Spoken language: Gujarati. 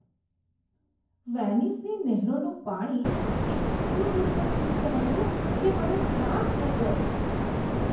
વેનિસની નહેરોનું પાણી એટલું દુર્ગંધયુક્ત હતું કે મને ત્રાસ થઈ ગયો.